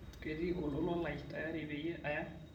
ketii olola lai tayari peyie aya